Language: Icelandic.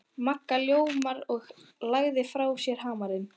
Magga ljómaði og lagði frá sér hamarinn.